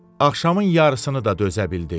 Axşamın yarısını da dözə bildi.